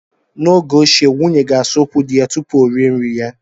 N'oge ochie, nwunye ga-asa ụkwụ di ya tupu o rie nri ya.